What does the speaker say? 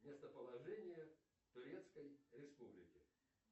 местоположение турецкой республики